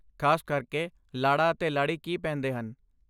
ਖਾਸ ਕਰਕੇ, ਲਾੜਾ ਅਤੇ ਲਾੜੀ ਕੀ ਪਹਿਨਦੇ ਹਨ?